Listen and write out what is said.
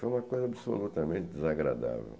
Foi uma coisa absolutamente desagradável.